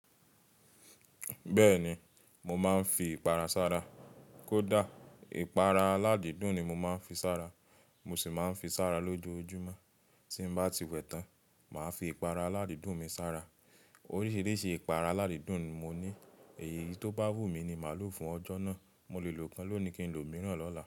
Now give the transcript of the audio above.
Bẹ́ẹ̀ni, mo máa ń fi ìpara sára. Kódà ìpara aládìídùn ni mo máa ń fi sára. Mo sì máa ń fi sára lójoojúmọ́. Tí mo bá ti wẹ̀ tán, màá fi ìpara aládìídùn mi sára. Oríṣiríṣi ìpara aládìídùn ni mo ní. Èyí tó bá wù mí ni màá lò fún ọjọ́ náà. Mo lè lò kan lónìí kí n lò mìíràn lọ́la.